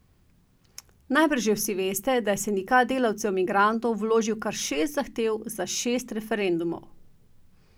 Najbrž že vsi veste, da je Sindikat delavcev migrantov vložil kar šest zahtev za šest referendumov.